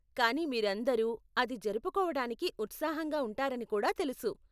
కానీ మీరందరూ అది జరుపుకోవటానికి ఉత్సాహంగా ఉంటారని కూడా తెలుసు.